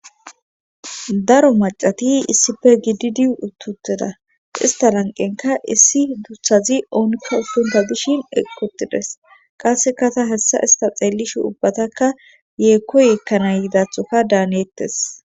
daro macati issife gididi uttuteda ista lanqenka issi duthazi oonikka ufunta dishin eqi utides qassekata hessa ista xeellishe ubbataka yeekkoyekkana yidathoka daanettes